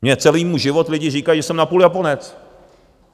Mně celý můj život lidi říkají, že jsem napůl Japonec.